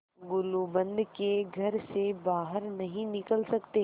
गुलूबंद के घर से बाहर नहीं निकल सकते